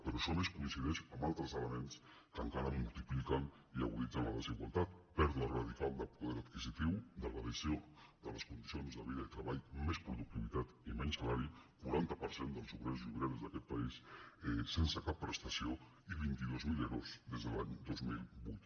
però això a més coincideix amb al·tres elements que encara multipliquen i aguditzen la desigualtat pèrdua radical de poder adquisitiu degra·dació de les condicions de vida i treball més produc·tivitat i menys salari quaranta per cent dels obrers i obreres d’aquest país sense cap prestació i vint dos mil ero des de l’any dos mil vuit